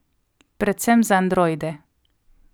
Predvsem za androide.